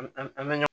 An an an bɛ